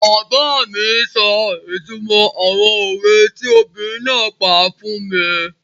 Bàbá mi sọ ìtumọ̀ àwọn òwe tí obìnrin náà pa fún mi